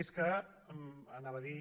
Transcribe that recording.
és que anava a dir